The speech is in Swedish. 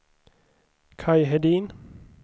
Kaj Hedin